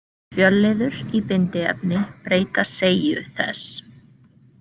Fjölliður í bindiefni breyta seigju þess.